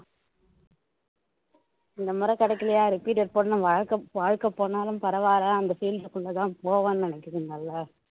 இந்த முறை கிடைக்கலையா repeated போடணும் வாழ்க்கை வாழ்க்கை போனாலும் பரவாயில்ல அந்த இதுக்குள்ள தான் போவேன்னு நினைக்குதுங்கல்ல